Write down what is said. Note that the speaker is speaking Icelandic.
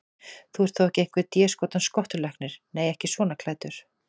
Þú ert þó ekki einhver déskotans skottulæknirinn. nei, ekki svona klæddur.